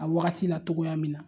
A wagati la, togoya min na.